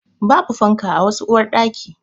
Babu fanka a wasu uwarɗaki.